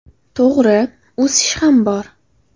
To‘g‘ri, o‘sish ham bor.